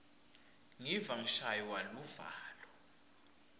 ngiva ngishaywa luvalo